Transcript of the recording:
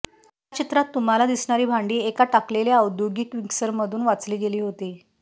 या चित्रात तुम्हाला दिसणारी भांडी एका टाकलेल्या औद्योगिक मिक्सरमधून वाचली गेली होती